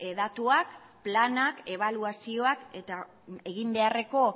datuak planak ebaluazioak eta eginbeharreko